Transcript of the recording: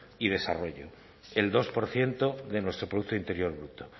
y desarrollo el dos por ciento de nuestro producto interior bruto